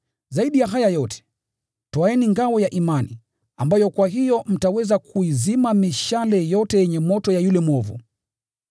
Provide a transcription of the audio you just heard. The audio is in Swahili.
Zaidi ya haya yote, twaeni ngao ya imani, ambayo kwa hiyo mtaweza kuizima mishale yote yenye moto ya yule mwovu.